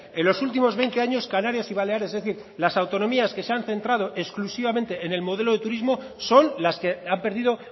en los últimos veinte años canarias y baleares es decir las autonomías que se han centrado exclusivamente en el modelo de turismo son las que han perdido